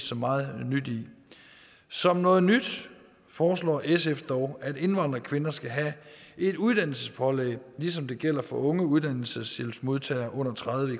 så meget nyt i som noget nyt foreslår sf dog at indvandrerkvinder skal have et uddannelsespålæg ligesom det gælder for unge uddannelseshjælpsmodtagere under tredive